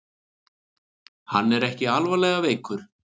Hann er ekki alvarlega veikur